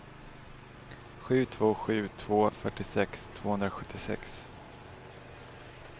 sju två sju två fyrtiosex tvåhundrasjuttiosex